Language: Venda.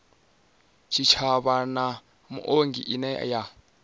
tshitshavha na muongi ine ya